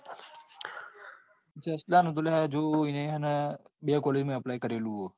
જસ્લા નું તો લ્યા હજુ એને હે ને બે calling માં apply કરેલું હ.